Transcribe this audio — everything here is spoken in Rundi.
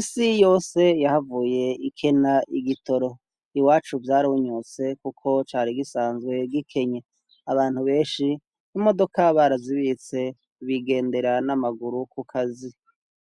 isi yose yahavuye ikena igitoro iwacu vyarunyuse kuko cari gisanzwe gikenye abantu benshi n'imodoka barazibitse bigendera n'amaguru ku kazi